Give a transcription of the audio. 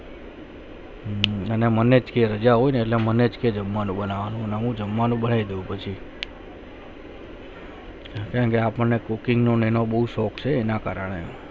અને મને જે રજા હું ના મને કે જમવાનું બનવું મને જમવાનું બનાયૈ પછી અને મનો cooking નો બહુ શોક છે એના કારણે